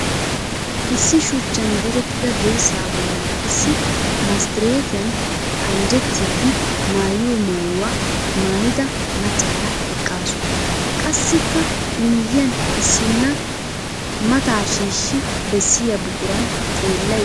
Issi shuchchan direttida dirssaa bollan issi masttireetiyan anjjettiiddi mayiyo mayuwa mayida maccaara eqqaasu. Qassikka I miyyiyan issinna mataa shiishshi bessiya buquran xeellayidda dawusu.